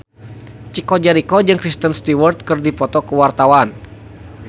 Chico Jericho jeung Kristen Stewart keur dipoto ku wartawan